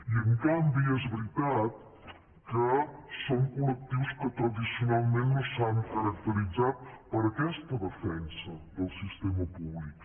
i en canvi és veritat que són col·lectius que tradicionalment no s’han caracteritzat per aquesta defensa del sistema públic